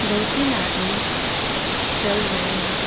दो तीन आदमी चल रहे है।